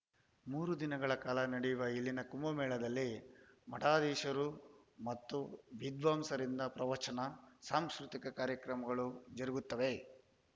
ಮೂರು ದಿನಗಳ ಕಾಲ ನಡೆಯುವ ಇಲ್ಲಿನ ಕುಂಭಮೇಳದಲ್ಲಿ ಮಠಾಧೀಶರು ಮತ್ತು ವಿದ್ವಾಂಸರಿಂದ ಪ್ರವಚನ ಸಾಂಸ್ಕೃತಿಕ ಕಾರ್ಯಕ್ರಮಗಳು ಜರುಗುತ್ತವೆ